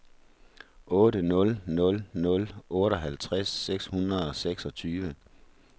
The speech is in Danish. otte nul nul nul otteoghalvtreds seks hundrede og seksogtyve